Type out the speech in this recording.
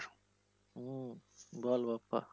হম বল দোস্ত।